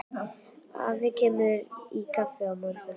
Afi kemur í kaffi á morgun.